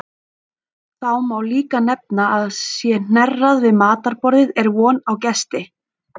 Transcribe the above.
Þá má líka nefna að sé hnerrað við matarborðið er von á gesti.